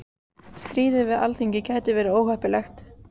Stríð við Alþingi gæti verið óheppilegt